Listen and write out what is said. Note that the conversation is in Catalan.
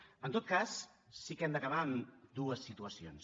en tot cas sí que hem d’acabar amb dues situacions